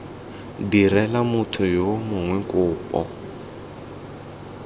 direla motho yo mongwe kopo